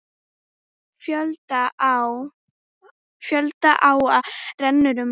Fjölda áa renna um landið.